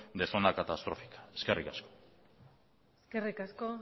de zona catastrófica eskerrik asko eskerrik asko